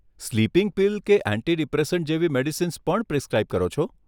Sleeping pill કે anti depressant જેવી medicines પણ પ્રિસક્રાઇબ કરો છો?